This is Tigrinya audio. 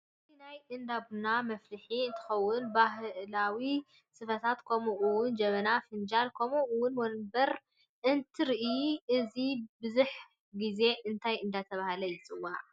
እዚ ናይ እዳቡና መፍልሕ እንትከው ባህላወ ስፈታት ከምኡ እውን ጀበናን ፋናጅልን ከምኡ እውን ወንበረታ እትርእ እዚ ብሕዝ ግዘ እንታይ እዳተበሃለ ይፅዋ?